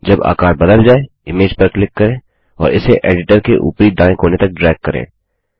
जब आकार बदल जाय इमेज पर क्लिक करें और इसे एडिटर के ऊपरी दायें कोने तक ड्रैग करें